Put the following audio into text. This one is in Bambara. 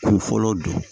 K'u fɔlɔ don